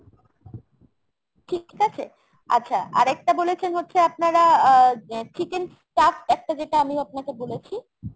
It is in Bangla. ঠিক আছে ?আচ্ছা আর একটা বলেছেন হচ্ছে আপনারা আহ chicken stuffed যেটা আমি আপনাকে বলেছি।